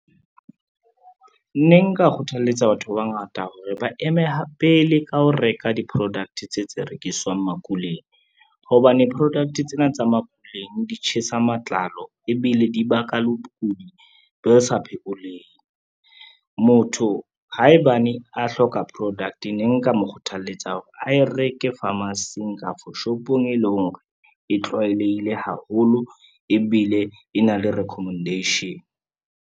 Ne nka kgothaletsa batho ba bangata hore ba eme pele ka ho reka di-product tse tse rekiswang makuleng, hobane product tsena tsa makuleng di tjhesa matlalo ebile di baka le bokudi bo sa phekoleheng. Motho haebane a hloka product ne nka mo kgothaletsa hore a e reke pharmacy-eng kafo shopong e leng hore, e tlwaelehile haholo ebile e na le recommendation.